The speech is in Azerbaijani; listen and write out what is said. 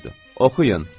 Oxuyun.